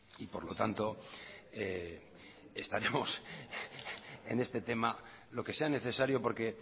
y por lo tanto estaremos en este tema lo que sea necesario porque